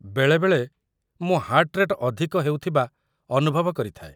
ବେଳେବେଳେ, ମୁଁ heart rate ଅଧିକ ହେଉଥିବା ଅନୁଭବ କରିଥାଏ।